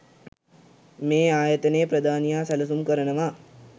මේ ආයතනයේ ප්‍රධානියා සැලසුම් කරනවා